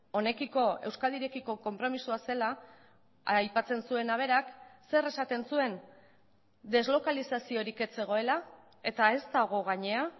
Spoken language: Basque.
honekiko euskadirekiko konpromisoa zela aipatzen zuena berak zer esaten zuen deslokalizaziorik ez zegoela eta ez dago gainera